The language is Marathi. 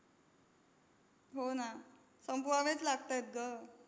हो ना, संपवावेच लागतायत गं.